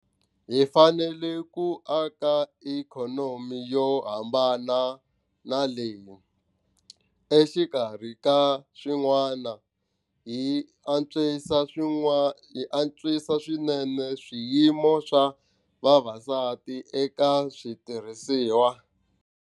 Hi fanelel ku aka ikhonomi yo hambana na leyi, exikarhi ka swin'wana, yi antswisaka swinene xiyimo xa vavasati eka switirhisiwa.